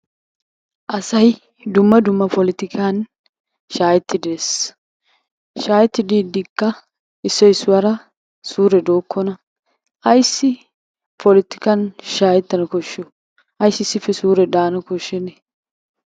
Asay shaahet dumma dumma poltikkan shaahetidi dees, shaahetti diidikka issoy issuwara suure dookona. Ayssi polotikkan shaakettana koshiyo? Ayssi issippe suure daana koshenee?